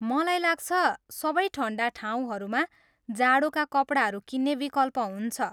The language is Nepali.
मलाई लाग्छ, सबै ठन्डा ठाउँहरूमा जाडोका कपडाहरू किन्ने विकल्प हुन्छ।